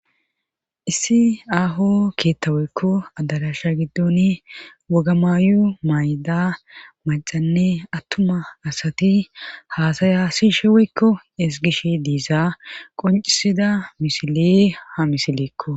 issi aaho keettaweykko addadasha giddoni woga maayu may7da macanne attuma asati haasaya si shiweykko esgish diisa qoncisida misile ha misileekko